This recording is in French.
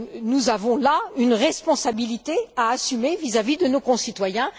Nous avons là une responsabilité à assumer vis à vis de nos concitoyens.